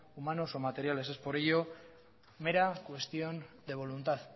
humanos o materiales es por ello mera cuestión de voluntad